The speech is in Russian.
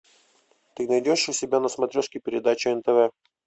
ты найдешь у себя на смотрешке передачу нтв